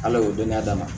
Ala y'o dɔn